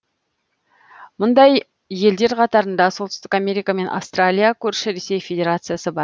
мұндай елдер қатарында солтүстік америка мен австралия көрші ресей федерациясы бар